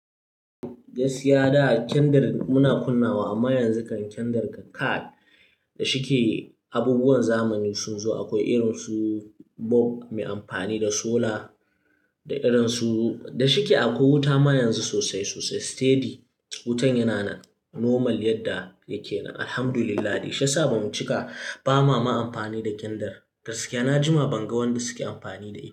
Gaskiya da a kyandir muna kunnawa, amma yanzu kiyandir kai. Da shike abubuwan zamani sun zo akwai irin su bob mai amfani da solar da irin su da shike akwai wuta ma yanzu sosai sosai steady. Wutan yana nan normal yadda yake. Alhamdulillahi shi ya sa bamu cika ba ma ma amfani da kindir. Gaskiya na jima ban ga wanda suke amfani da shi.